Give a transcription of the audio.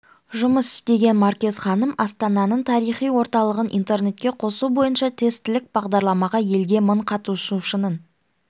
жұмыс істеген маркез ханым астананың тарихи орталығын интернетке қосу бойынша тестілік бағдарламаға енген мың қатысушының